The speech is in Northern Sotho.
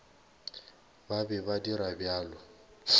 ba be ba dira bjalo